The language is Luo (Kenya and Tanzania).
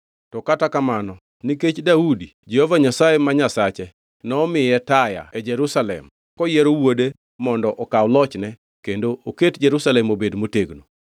To kata kamano nikech Daudi, Jehova Nyasaye ma Nyasache nomiye taya Jerusalem koyiero wuode mondo okaw lochne kendo oket Jerusalem obed motegno.